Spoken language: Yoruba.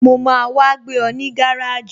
Mo máa wá gbé ọ ní gáràjì